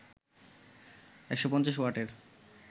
১৫০ ওয়াটের